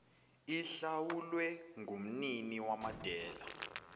ihlawulwe ngumnini wamadela